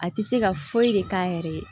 A tɛ se ka foyi de k'a yɛrɛ ye